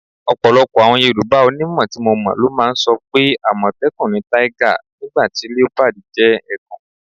Ò̩pò̩lo̩pò̩ àwo̩n Yorùbá onímò̩ tí mo mò̩ ló máa ń so̩ pé: “àmò̩té̩kùn ni tiger, nígbà tí leopard jé̩ e̩kùn.”